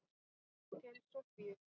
Til Soffíu.